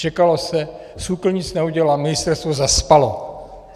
Čekalo se, SÚKL nic neudělal, ministerstvo zaspalo.